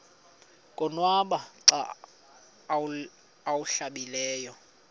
konwaba xa awuhlambileyo